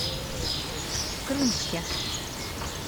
крымске